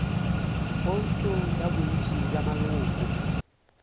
bouto ya bontši bja maloko